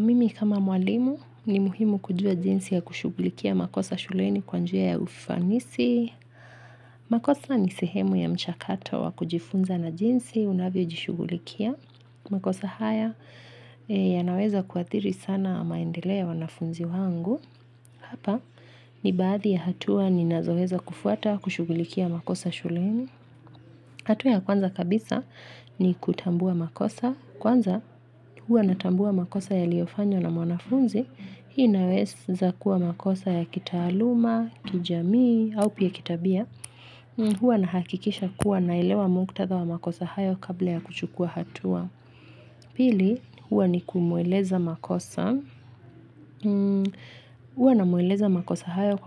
Mimi kama mwalimu ni muhimu kujua jinsi ya kushugulikia makosa shuleni kwa njia ya ufanisi. Makosa ni sehemu ya mchakato wa kujifunza na jinsi unavyojishugulikia. Makosa haya yanaweza kuathiri sana maendeleo ya wanafunzi wangu. Hapa ni baadhi ya hatua ninazoweza kufuata kushugulikia makosa shuleni. Hatua ya kwanza kabisa ni kutambua makosa. Kwanza, huwa natambua makosa yaliyofanywa na mwanafunzi. Hii inaweza kuwa makosa ya kitaaluma, kijamii, au pia kitabia. Hua nahakikisha kuwa naelewa muktadha wa makosa hayo kabla ya kuchukua hatua. Pili, hua ni kumueleza makosa. Hua namweleza makosa hayo